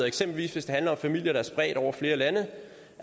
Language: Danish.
eksempelvis hvis det handler om familier der er spredt over flere lande